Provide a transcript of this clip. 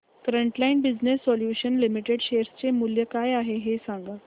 frontline Business Solutions Limited share चे मूल्य काय आहे हे सांगा